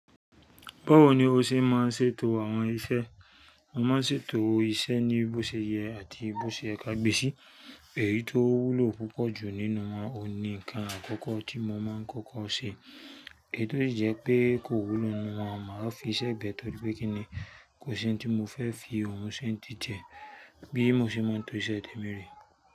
Báwo ni o ṣe máa ń ṣètò àwọn iṣẹ́? Mo máa ń ṣètò iṣẹ́ ní bó ṣe yẹ àti bó ṣe ye ka gbé sí. Èyí tó wúlò púpọ̀ ju nínú oun ni ǹkan àkọ́kọ́ tí mo máa ń kọ́kọ́ ṣe, eèyí tó si jẹ pé kò wúlu nínú wọn, màá fiṣẹ́ bẹ̀ẹ́ torí pé kí ni, kò sí ohun tí mo fẹ́ fi ohun sì ń tì tie. Bí mo ṣe mo ń to iṣẹ́ tèmi rè.